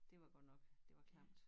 Det var godt nok det var klamt